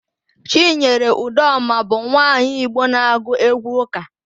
Chinyere Udoma bụ nwaanyị Igbo na-agụ égwụ́ ụ́kà.